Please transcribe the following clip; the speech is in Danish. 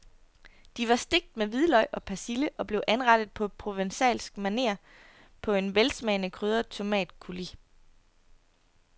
De var stegt med hvidløg og persille og blev anrettet på provencalsk maner på en velsmagende krydret tomatcoulis.